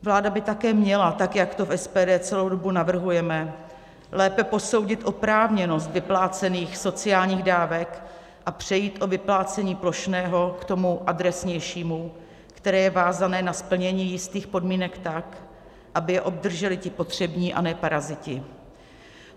Vláda by také měla, tak jak to v SPD celou dobu navrhujeme, lépe posoudit oprávněnost vyplácených sociálních dávek a přejít od vyplácení plošného k tomu adresnějšímu, které je vázané na splnění jistých podmínek, tak aby je obdrželi ti potřební, a ne paraziti.